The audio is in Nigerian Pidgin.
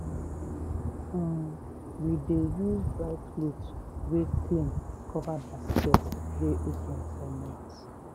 um we dey use dry cloth wey clean cover basket wey open for night.